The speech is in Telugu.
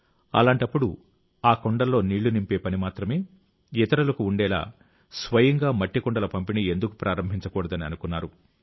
అలాంటప్పుడు ఆ కుండల్లో నీళ్లు నింపే పని మాత్రమే ఇతరులకు ఉండేలా స్వయంగా మట్టి కుండల పంపిణీ ఎందుకు ప్రారంభించకూడదని అనుకున్నారు